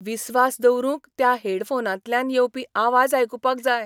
विस्वास दवरूंक त्या हेडफोनांतल्यान येवपी आवाज आयकुपाक जाय.